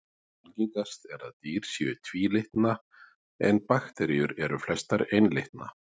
Algengast er að dýr séu tvílitna en bakteríur eru flestar einlitna.